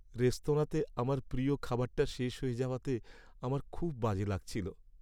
রেস্তোরাঁতে আমার প্রিয় খাবারটা শেষ হয়ে যাওয়াতে আমার খুব বাজে লাগছিলো।